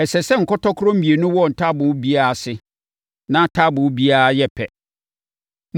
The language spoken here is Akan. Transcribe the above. Ɛsɛ sɛ nkɔtɔkorɔ mmienu wɔ taaboo biara ase, na taaboo biara yɛ pɛ.